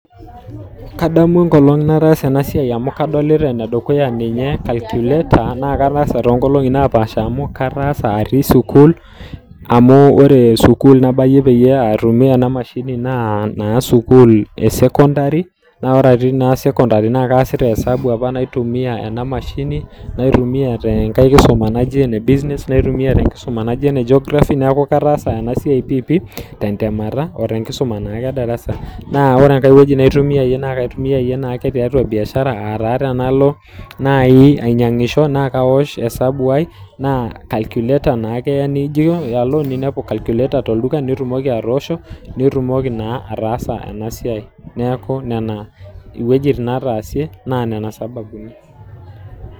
Kadamu enkolong' nataasa ena siai amu kadolita ene dukuya ninye calculator naa kataasa toonkolongi naapaasha amu kataasa atii sukuul, amu wore sukuul nabayie peyie aitumia ena mashini naa naa sukuul esekondari. Naa wore atii naa sekondari naa kaasita hesabu apa naitumiya ena mashini, naitumiya tenkae kisuma naji ene business, naitumiya tenkisuma naji ene Geography neeku kataasa ena siai piipii tentemata otenkisuma naake edarasa. Naa wore enkae wueji naitumiaye naa kaitumiaye tiatua biashara, aa taa tenalo naai ainyiangisho naa kaosh hesabu ai, naa calculator naake eya nijo alo niniapu calculator tolduka nitumoki atoosho. Nitumoki naa ataasa ena siai. Neeku niana iwejitin nataasie naa niana isababuni.